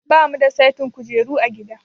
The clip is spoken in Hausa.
Ba mu da saitin kujeru a gida.